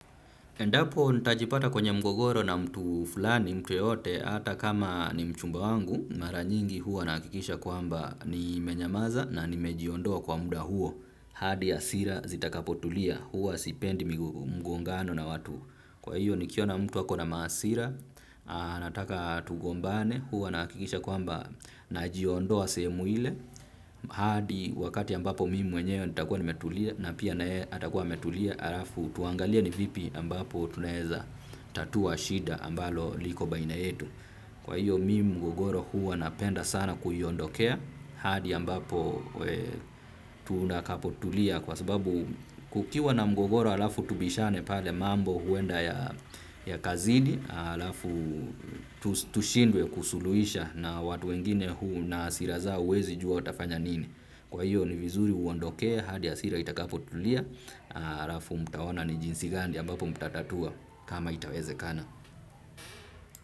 Endapo nitajipata kwenye mgogoro na mtu fulani mtu yeyote hata kama ni mchumba wangu, mara nyingi huwa nahakikisha kwamba nimenyamaza na nimejiondoa kwa muda huo hadi hasira zitakapotulia, huwa sipendi mgongano na watu, kwa hiyo nikiona mtu ako na mahasira, anataka tugombane, huwa nahakikisha kwamba najiondoa sehemu ile hadi wakati ambapo mimi mwenyewe nitakuwa nimetulia na pia naye atakuwa ametulia halafu tuangalie ni vipi ambapo tunaweza tatua shida ambalo liko baina yetu. Kwa hiyo mimi mgogoro huwa napenda sana kuiondokea hadi ambapo tunakapotulia kwa sababu kukiwa na mgogoro halafu tubishane pale, mambo huenda yakazidi halafu tushindwe kusuluhisha na watu wengine huu na hasira zao huwezi jua watafanya nini. Kwa hiyo ni vizuri uondokee hadi hasira itakapotulia. Halafu mtaona ni jinsi gani ambapo mtatatua kama itawezekana.